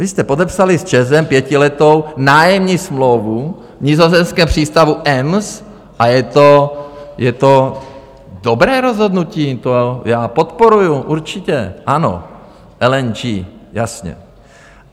Vy jste podepsali s ČEZem pětiletou nájemní smlouvu v nizozemském přístavu Ems a je to dobré rozhodnutí, to já podporuji, určitě, ano, LNG, jasně.